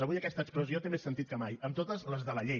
avui aquesta expressió té més sentit que mai amb totes les de la llei